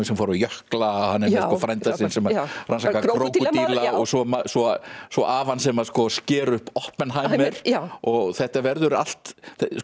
sem fóru á jökla frænda sinn sem rannsakar krókódíla og svo svo svo afann sem sker upp Oppenheimer og þetta verður allt